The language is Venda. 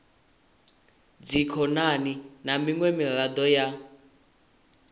dzikhonani na miṅwe miraḓo ya